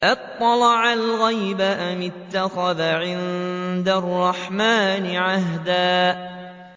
أَطَّلَعَ الْغَيْبَ أَمِ اتَّخَذَ عِندَ الرَّحْمَٰنِ عَهْدًا